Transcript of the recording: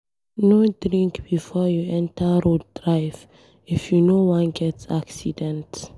No drink before you enter road dey drive if you no wan get accident.